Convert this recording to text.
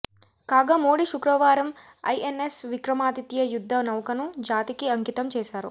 కాగా మోడీ శుక్రవారం ఐఎన్ఎస్ విక్రమాదిత్య యుద్ధ నౌకను జాతికి అంకితం చేసారు